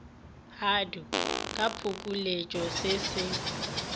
hdp ka phokoletšo se se